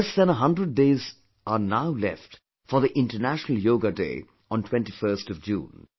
Less than a hundred days are now left for the International Yoga Day on 21st June